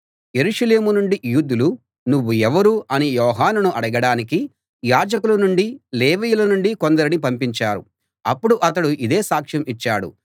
యెరూషలేము నుండి యూదులు నువ్వు ఎవరు అని యోహానును అడగడానికి యాజకుల నుండీ లేవీయుల నుండీ కొందరిని పంపించారు అప్పుడు అతడు ఇదే సాక్ష్యం ఇచ్చాడు